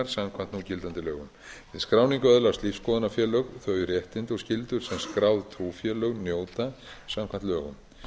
samkvæmt núgildandi lögum við skráningu öðlast lífsskoðunarfélög þau réttindi og skyldur sem skráð trúfélög njóta samkvæmt lögum